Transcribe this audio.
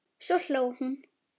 Svo hló hún.